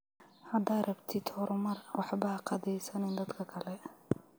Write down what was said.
Hada rabtid xormaar waxba haqadeysanin dadka kale.